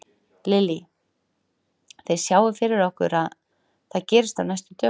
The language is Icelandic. Lillý: Þið sjáið fyrir ykkur að það gerist á næstu dögum?